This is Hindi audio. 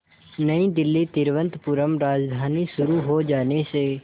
नई दिल्ली तिरुवनंतपुरम राजधानी शुरू हो जाने से